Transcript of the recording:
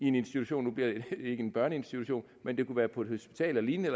en institution nu bliver det ikke en børneinstitution men det kunne være på et hospital eller lignende